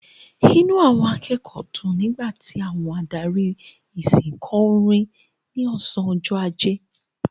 Inú àwọn akẹ́kọ̀ọ́ dùn nígbà tí adarí ìsìn kò orin ní ọ̀sán ọjọ́ ajé.